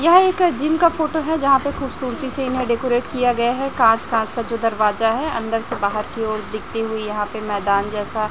यह एक जिम का फोटो है यहाँ पे खूबसूरती से इन्हें डेकोरेट किया गया है कांच कांच का जो दरवाजा है अंदर से बाहर की ओर दिखती हुई यहाँ पे मैदान जैसा --